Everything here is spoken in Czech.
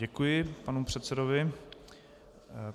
Děkuji panu předsedovi.